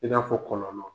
I n'a fɔ kɔlɔlɔ